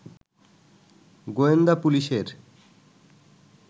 গোয়েন্দা পুলিশের